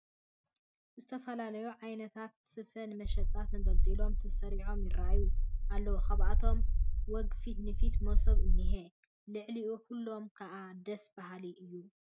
ዝተፈላለዩ ዓይነታት ስፈ ንመሸጣ ተንጠልጢሎምን ተሰሪዖምን ይርአዩ ኣለዉ፡፡ ካብኣቶም ወግ ፊት ንፊት መሶብ እኒሀ፡፡ ልዕሊ ኩሎም ከዓ ደስ በሃሊ እዩ፡፡